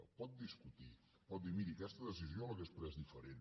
ho pot discutir pot dir miri aquesta decisió l’hauria pres diferent